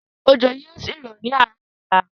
Ójó yìí ó sì rọ̀ ni àárọ̀ ọ̀la.